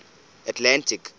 atlantic